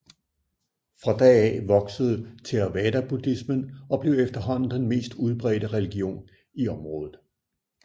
Fra da af voksede theravadabuddhismen og blev efterhånden den mest udbredte religion i området